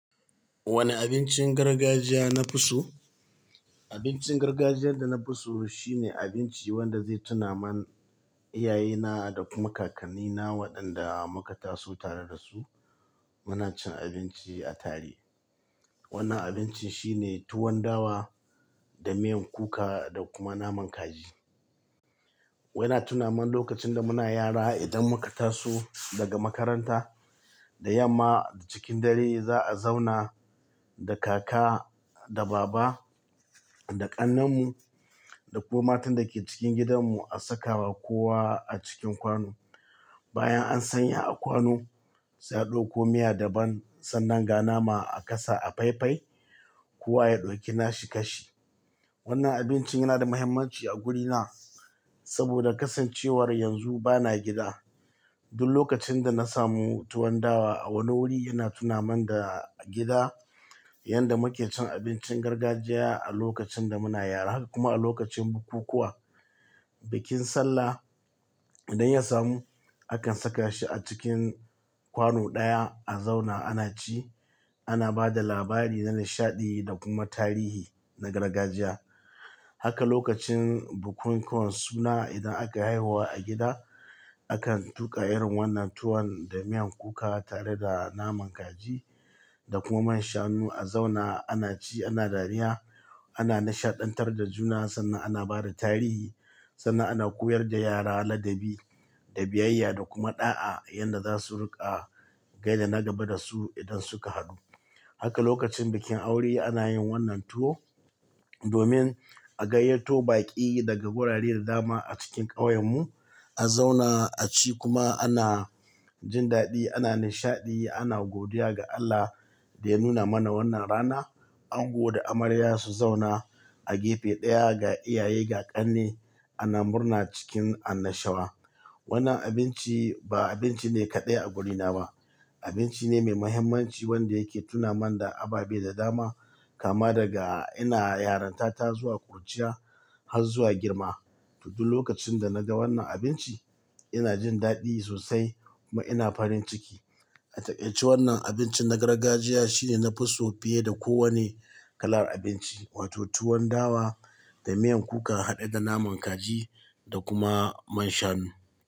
Wane abincin gargajiya na fi so? Abincin gargajiyar da na fi so shine abinci wanda zai tuna man iyaye na da kum kakanni na waɗanda muka taso tare da su muna cin abinci a tare. Wannan abincin shine tuwon dawa da miyan kuka da kuma naman kaji. Waina tuna man lokacin da muna yara idan muka taso daga makaranta da yamma cikin dare za a zauna da kaka da baba da ƙannan mu da kuma matan da ke cikin gidan mu a sakawa kowa a cikin kwano. Bayan an sanya a kwano sai a ɗauko miya daban sannan ga nama a kasa a faifai, kowa ya ɗauki nashi kashi. Wannan abincin yana da mahimmanci a guri na saboda kasancewar yanzu bana gida. Duk lokacin da na samu tuwon dawa a wani wuri yana tuna mun da gida, yanda muke cin abincin gargajiya a lokacin da muna yara kuma a lokacin bukukuwa, bikin sallah idan ya samu akan saka shi a cikin kwano ɗaya a zauna ana ci ana bada labari na nishaɗi da kuma tarihi na gargajiya. Haka lokacin bukunkuwan suna idan aka haihuwa a gida akan tuƙa irin wannan tuwon da miyan kuka tare da naman kaji da kuma man shanu a zauna ana ci ana dariya ana nishaɗantar da juna sannan ana bada tarihi sannan ana koyar da yara ladabi da biyayya da kuma ɗa'a yanda za su riƙa gai da na gaba da su idan suka haɗu. Haka lokacin bikin aure ana yin wannan tuwo domin a gayyato baƙi daga wurare da dama a cikin ƙauyen mu a zauna a ci kuma ana jin daɗi ana nishaɗi ana godiya ga Allah da ya nuna mana wannan rana. Ango da amarya su zauna a gefe ɗaya ga iyaye ga ƙanne ana murna cikin annashawa. Wannan abinci ba abinci ne kaɗai a guri na ba, abinci ne mai muhimmanci wanda yake tuna man da abaɓai da dama kama daga ina yaranta ta zuwa ƙuruciya har zuwa girma. Duk lokacin da naga wannan abinci ina jin daɗi sosai kuma ina farin ciki. A takaice wannan abincin na gargajiya shine na fi so fiye da kowane kalar abinci wato tuwon dawa da miyan kuka haɗe da naman kaji da kuma man shanu.